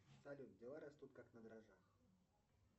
салют дела растут как на дрожжах